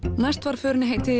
næst var förinni heitið i